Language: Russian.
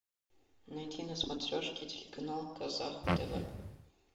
найди на смотрешке телеканал казах тв